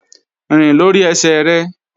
Rìn lórí ẹsẹ̀ rẹ!